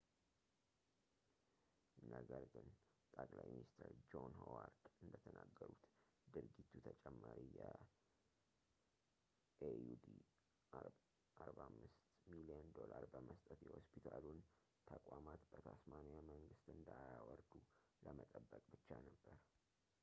ነገር ግን ጠቅላይ ሚኒስትር ጆን ሆዋርድ እንደተናገሩት ድርጊቱ ተጨማሪ የ aud$45 ሚሊዮን ዶላር በመስጠት የሆስፒታሉን ተቋማት በታስማኒያ መንግስት እንዳያወርዱ ለመጠበቅ ብቻ ነበር